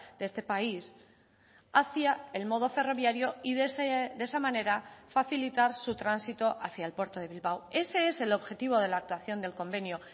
de este país hacia el modo ferroviario y de esa manera facilitar su tránsito hacia el puerto de bilbao ese es el objetivo de la actuación del convenio